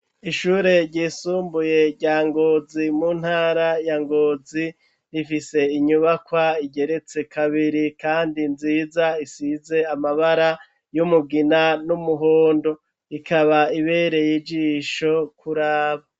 Ishure ryisumbuye rya Ngozi, mu ntara ya Ngozi, rifise inyubakwa igeretse kabiri kandi nziza, isize amabara y'umugina n'umuhondo. Ikaba ibereye ijisho kuraba.